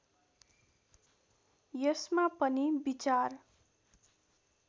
यसमा पनि विचार